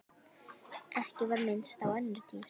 Ekki var minnst á önnur dýr.